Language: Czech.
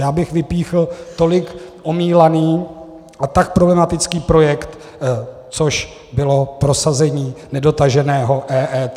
Já bych vypíchl tolik omílaný a tak problematický projekt, což bylo prosazení nedotaženého EET.